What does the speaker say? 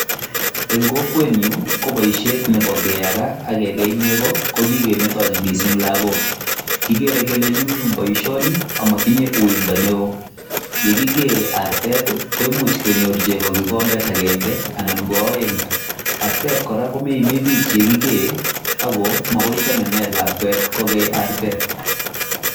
Eng' kokwenyun i, ko paishet nepo keyaka ak kekei nego ko kikemetachi missing' lagook. Kikere kele nyumnyum poishoni amayinye uindo neo. Ye kikee artet i, komuch kenyor cheko kikombet agenge anan ko aeng'. Artet kora ko meimi pich ye kikee ako makoi ko temene lakwet ko kei artet.